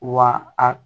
Wa a